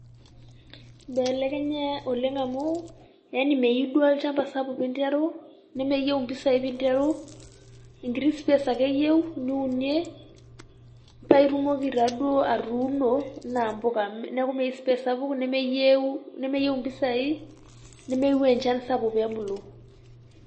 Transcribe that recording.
Eibelekenya oleng' amu, Yani meyieu duo olnchampa sapuk pee interu, nemeyieu impisai pee interu engiti supes ake eyieu niunie, paa itumoki naaduo atuuno enaa empuka neeku meyieu space sapuk nemeyieu impisai nemeyieu enchan sapuk pee ebulu.